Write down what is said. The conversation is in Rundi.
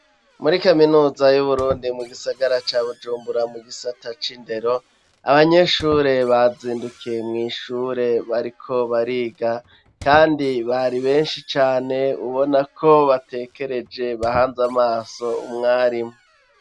muri kaminuza y'uburundi mu gisagara ca bujumbura mu gisata c'indero abanyeshure bazindukiye mw' ishure bariko bariga kandi bari benshi cane ubona ko batekereje bahanze amaso umwarimu